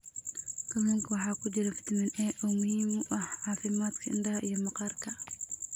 Kalluunka waxaa ku jira fitamiin A oo muhiim u ah caafimaadka indhaha iyo maqaarka.